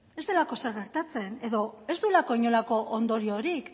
ez delako ezer gertatzen edo ez duelako inolako ondoriorik